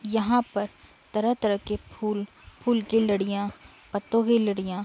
यहाँ पर तरह-तरह के फूल फूल की लड़िया पत्तों की लड़िया --